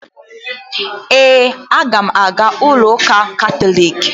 Ee, aga m aga ụlọụka katọliiki